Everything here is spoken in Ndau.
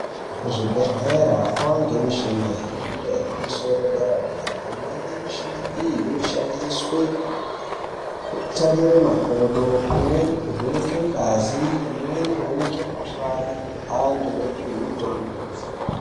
Kuzvibhedhlera zvava nemichina yemhando yepamusoro yepadera dera michini iyi inoshandiswa kutarire makodo imweni kuvhenaka ngazi imweni kuvhenaka mukuhlani antu opiwe mutombo.